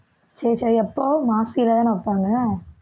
சரி, சரி எப்போ மாசிலதானே வைப்பாங்க